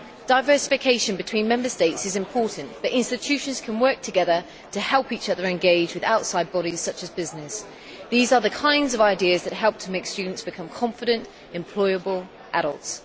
Diversification between Member States is important, but institutions can work together to help each other engage with outside bodies such as business. These are the kinds of ideas that help to make students become confident, employable adults.